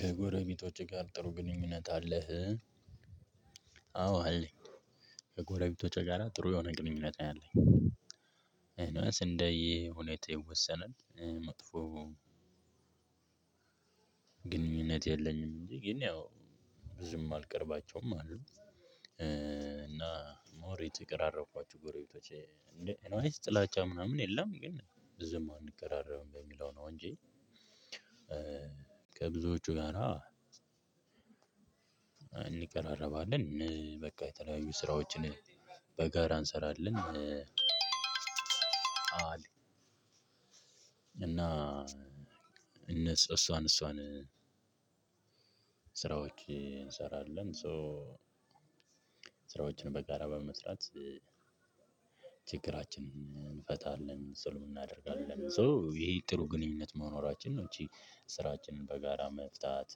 ከጎረቤቶችህ ጋር ጥሩ ግንኙነት አለህ? አዎ አይ ከጎረቤቶቼ ጋራ ጥሩ የሆነ ግንኙነት ያአለኝ። እኒዌይስ እንደየ ሁኔታው ይወሰናል። መጥፎ ግንኙነት የለኝም እንጂ ግን ያው ብዙም አልቀርባቸውም አሉ። እና ሞር የተቀራረብኳቸው ጎረቤቶቼ እንዴ ኤኒዌይስ ጥላቻ ምናምን የለም ግን ብዙም አንቀራረብም በሚለው ነው። እንጂ ከብዙዎቹ ጋር እንቀራረባለን የተለያዩ ስራዎችን በጋራ እንሰራለን። እና እነሱ እሷን እሷን እንሰራለን ሶ ስራዎችን በጋራ በመስራት። ችግራችንን እንፈታለን ጽሉም እናደርጋለን ሶ ይሄ ጥሩ ግንኙነት መኖራችንን ነው። እቺ ስራችንን በጋራ መፍታት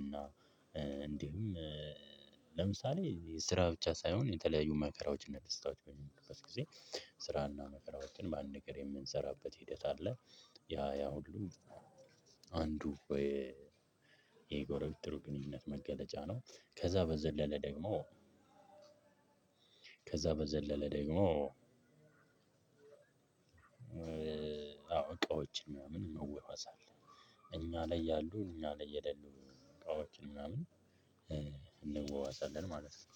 እና እንዲሁም ለምሳሌ የስራ ብቻ ሳይሆን የተለያዩ መከራዎችና ደስታዎች በሚከሰት ጊዜ ስራና መከራዎችን በአንድ ነገር የምንሰራበት ሂደት አለ። ያ ያ ሁሉ አንዱ የጎረቤት ጥሩ ግንኙነት መገለጫ ነው። ከዛ በዘለለ ደግሞ ከዛ በዘለለ ደግሞ አዎ። እቃዎችን ምናምን እንዋዋሳለን እኛ ላይ ያሉ እኛ ላይ የሌሉ እቃዎችን ምናምን እንዋዋሳለን። ማለት ነው።